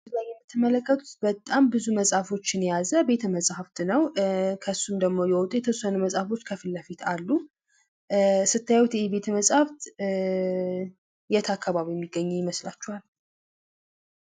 እዚህጋ የምትመለከቱት በጣም ብዙ መፅሐፍ የያዘ ቤተመጻሕፍት ነው ።ከሱም ደግሞ የወጡ የተወሰኑ መፅሐፍ ከፊት ለፊት አሉ። ስታዩት ደግሞ ይሄ ቤተመጻሕፍት የት አካባቢ ሚገኝ ይመስላችኋል ?